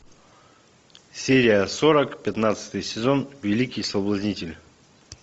серия сорок пятнадцатый сезон великий соблазнитель